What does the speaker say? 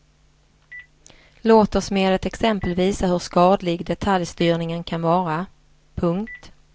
Låt oss med ett exempel visa hur skadlig detaljstyrningen kan vara. punkt